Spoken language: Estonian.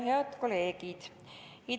Head kolleegid!